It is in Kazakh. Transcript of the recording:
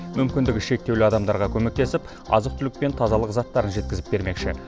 мүмкіндігі шектеулі адамдардға көмектесіп азық түлік пен тазалық заттарын жеткізіп бермекші